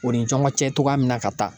O ni ɲɔgɔn cɛ cogoya min na ka taa.